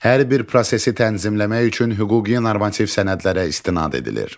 Hər bir prosesi tənzimləmək üçün hüquqi normativ sənədlərə istinad edilir.